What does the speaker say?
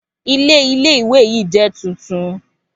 Ilé Ilé ìwé yìí jẹ́ tuntun